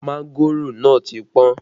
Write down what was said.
Mángòrò náà ti pọ́n